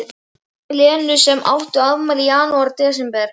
Lenu sem áttu afmæli í janúar og desember.